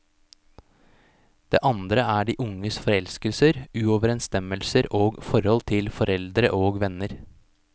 Det andre er de unges forelskelser, uoverensstemmelser og forhold til foreldre og venner.